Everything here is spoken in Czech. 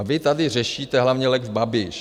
A vy tady řešíte hlavně lex Babiš.